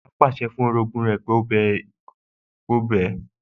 Bàbá pàṣẹ fún ìyàwó pé kí ó bẹ orogún ẹ̀